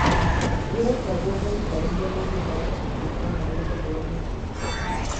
Wekaguo maikarĩire mahiga, thĩ kana rungu wa mĩtĩ